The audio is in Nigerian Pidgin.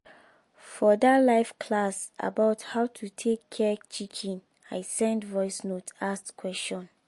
for dat live class about how to take care chicken i send voice message ask question